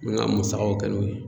N bɛ n ka musakaw kɛ n'o ye.